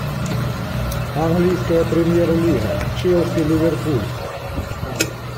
английская премьер лига челси ливерпуль